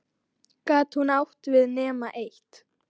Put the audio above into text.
Gat hún átt við nema eitt?